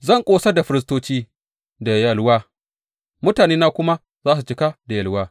Zan ƙosar da firistoci da yalwa, mutanena kuma za su cika da yalwa,